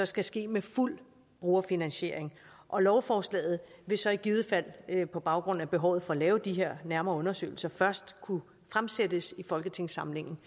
skal ske med fuld brugerfinansiering og lovforslaget vil så i givet fald på baggrund af behovet for at lave de her nærmere undersøgelser først kunne fremsættes i folketingssamlingen